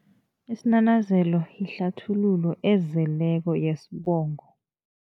Isinanazelo ihlathululo ezeleko yesibongo.